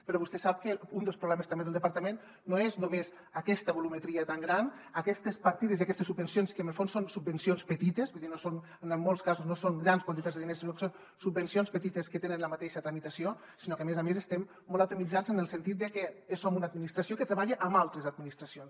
però vostè sap que un dels problemes també del departament no és només aquesta volumetria tan gran aquestes partides i aquestes subvencions que en el fons són subvencions petites vull dir en molts casos no són grans quantitats de diners sinó que són subvencions petites que tenen la mateixa tramitació sinó que a més a més estem molt atomitzats en el sentit que som una administració que treballa amb altres administracions